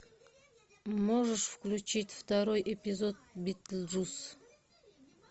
можешь включить второй эпизод битлджус